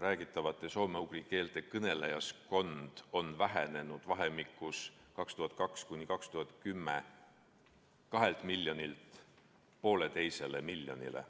räägitavate soome-ugri keelte kõnelejaskond on vähenenud 2002.–2010. aastal 2 miljonilt 1,5 miljonile.